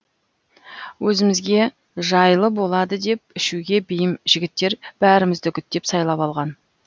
өзімізге жайлы болады деп ішуге бейім жігіттер бәрімізді үгіттеп сайлап алған